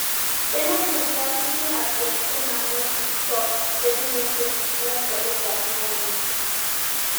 dem no gree drag even as de eke men no gree tok wetin mak dem wan collect their monie